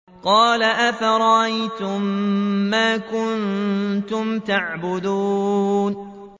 قَالَ أَفَرَأَيْتُم مَّا كُنتُمْ تَعْبُدُونَ